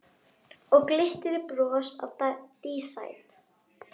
Og glittir í bros á dísæt